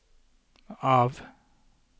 av